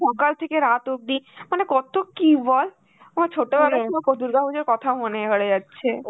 সকাল থেকে রাত অব্দি মানে কত কি বল. আমার ছোটবেলা দুর্গাপুজোর কথা মনে পড়ে যাচ্ছে.